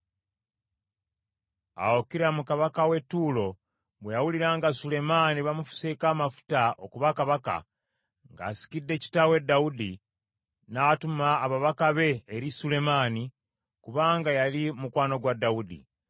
Awo Kiramu kabaka w’e Ttuulo bwe yawulira nga Sulemaani bamufuseeko amafuta okuba kabaka, ng’asikidde kitaawe Dawudi, n’atuma ababaka be eri Sulemaani, kubanga yali mukwano gwa Dawudi.